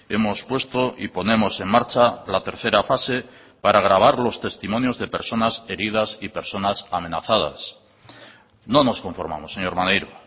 hemos puesto y ponemos en marcha la tercera fase para grabar los testimonios de personas heridas y personas amenazadas no nos conformamos señor maneiro